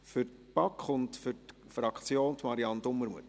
Für die BaK und die Fraktion: Marianne Dumermuth.